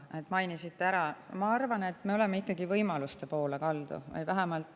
Ma arvan, et me oleme ikkagi võimaluste poole kaldu.